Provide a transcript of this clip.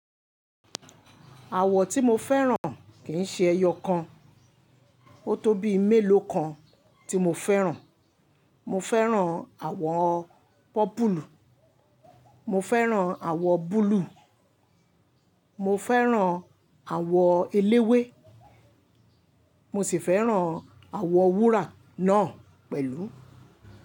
Àwọ̀ tí mo fẹ́ràn kì í ṣe ẹyọ kan, ó tó bí méèló kan tí mo fẹ́ràn. Mo fẹ́ràn àwọ̀ pọ́pùlù, mo fẹ́ràn àwọ̀ búlúù, mo fẹ́ràn àwọ̀ eléwé, mo sì fẹ́ràn àwọ̀ wúrà náà pẹ̀lú.